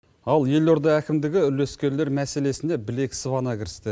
ал елорда әкімдігі үлескерлер мәселесіне білек сыбана кірісті